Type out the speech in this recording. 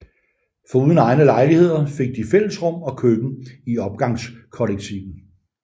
Foruden egne lejligheder fik de fællesrum og køkken i opgangskollektivet